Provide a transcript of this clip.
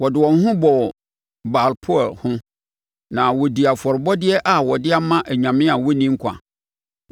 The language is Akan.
Wɔde wɔn ho bɔɔ Baal-peor ho na wɔdii afɔrebɔdeɛ a wɔde ama anyame a wɔnni nkwa;